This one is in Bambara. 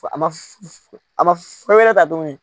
A ma a ma fɛn wɛrɛ ta tuguni